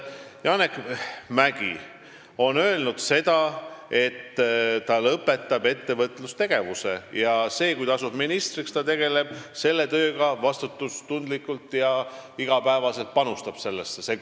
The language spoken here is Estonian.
Janek Mäggi on öelnud, et ta lõpetab ettevõtluse ning kui ta asub ministriks, siis ta tegeleb selle tööga vastutustundlikult ja panustab sellesse iga päev.